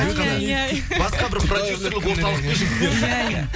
ай ай ай басқа бір продюсерлік орталықтың жігіттері жүр